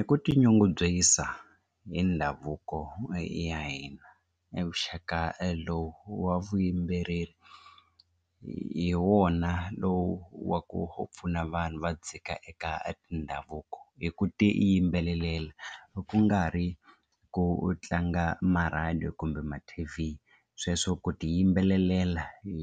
I ku tinyungubyisa hi ndhavuko ya hina e vuxaka lowu wa vuyimbeleri hi wona lowu wa ku pfuna vanhu va dzika eka tindhavuko hi ku tiyimbelelela ku nga ri ku u tlanga marhadiyo kumbe ma t_v sweswo ku tiyimbelelela hi